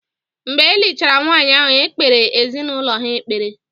Mgbe e lichara nwaanyị ahụ, e kpeere ezinaụlọ ha ekpere.